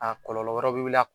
A kɔlɔlɔ wɛrɛ bɛ wili a